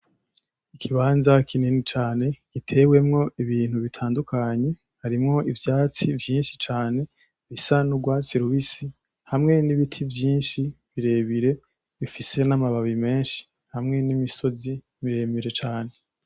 Ikibanza kinini cane gitewemwo ibintu bitandukanye, harimwo ivyatsi vyinshi cane bisa n’urwatsi rubisi, hamwe n’ibiti vyinshi birebire bifise n’amabababi menshi, hamwe n’imisozi miremire cane.